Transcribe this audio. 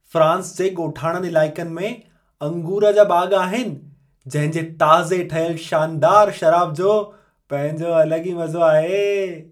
France जे ॻोठाणनि इलाइक़नि में अंगूर जा बाग़ आहिनि, जंहिं जे ताज़े ठहियल शानदारु शराब जो पंहिंजो अलॻि ई मज़ो आहे।